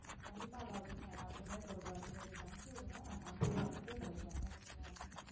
கண்டிப்பா அலாவுதீன் நான் எல்லார்ட்டையுமே சொல்றேன் நீங்க இன்னைக்கு அனுப்பிவிடுங்க நான் sample பாத்துட்டு சொல்றேன் okay வா